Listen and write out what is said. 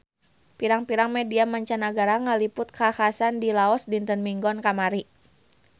Pirang-pirang media mancanagara ngaliput kakhasan di Laos dinten Minggon kamari